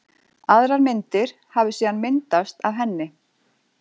Aðrar myndir hafi síðan myndast af henni.